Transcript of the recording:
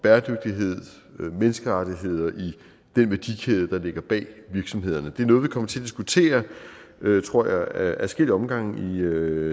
menneskerettigheder i den værdikæde der ligger bag virksomhederne det er noget vi kommer til at diskutere tror jeg ad adskillige omgange i